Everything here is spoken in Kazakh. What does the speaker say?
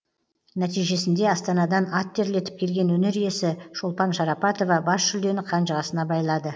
нәтижесінде астанадан ат терлетіп келген өнер иесі шолпан шарапатова бас жүлдені қанжығасына байлады